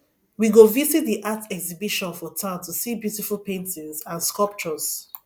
we go visit the art exhibition for town to see beautiful paintings and sculptures